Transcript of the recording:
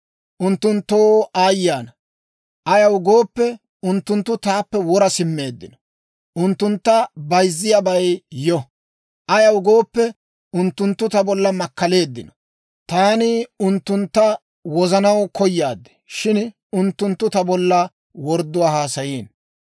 «Unttunttoo aayye ana! Ayaw gooppe, unttunttu taappe wora simmeeddino. Unttuntta bayzziyaabay yo! Ayaw gooppe, unttunttu ta bolla makkaleeddino. Taani unttunttu wozanaw koyaad; shin unttunttu ta bolla wordduwaa haasayiino.